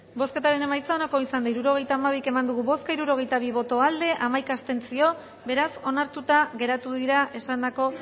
bozketaren emaitza onako izan da hirurogeita hamairu eman dugu bozka hirurogeita bi boto aldekoa hamaika abstentzio beraz onartuta geratu dira esandako